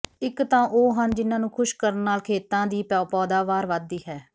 ਇੱਕ ਤਾਂ ਉਹ ਹਨ ਜਿਹਨਾਂ ਨੂੰ ਖ਼ੁਸ਼ ਕਰਨ ਨਾਲ਼ ਖੇਤਾਂ ਦੀ ਪੌਦਾਵਾਰ ਵੱਧਦੀ ਹੈ